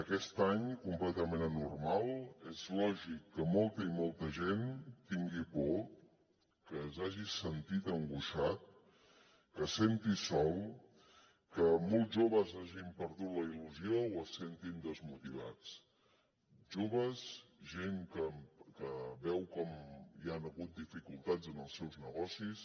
aquest any completament anormal és lògic que molta i molta gent tingui por que s’hagi sentit angoixat que es senti sol que molts joves hagin perdut la il·lusió o es sentin desmotivats joves gent que veu com hi han hagut dificultats en els seus negocis